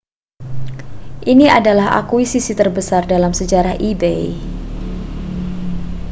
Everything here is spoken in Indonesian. ini adalah akuisisi terbesar dalam sejarah ebay